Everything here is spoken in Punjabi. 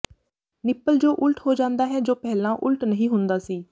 ਨਿੱਪਲ ਜੋ ਉਲਟ ਹੋ ਜਾਂਦਾ ਹੈ ਜੋ ਪਹਿਲਾਂ ਉਲਟ ਨਹੀਂ ਹੁੰਦਾ ਸੀ